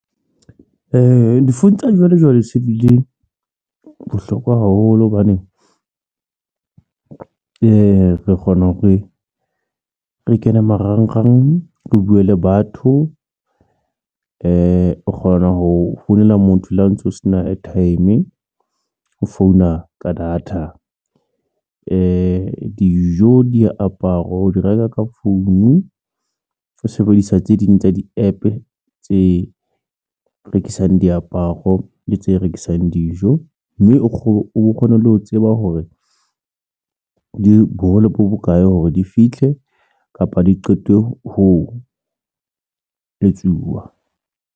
Difounu tsa sejwalejwale se di le bohlokwa haholo hobane re kgona hore re kene marangrang, re buwe le batho o kgona ho founela motho le ha ntso o se na airtime o founa ka data dijo diaparo o di reka ka founu, o sebedisa tse ding tsa di-APP tse rekisang diaparo le tse rekisang dijo mme o kgone le ho tseba hore di bohole bo bokae hore di fitlhe kapa di qetwe ho etsuwa.